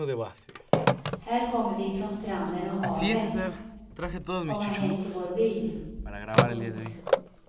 Här kommer vi från stranden och havet, komma hem till vår by. punkt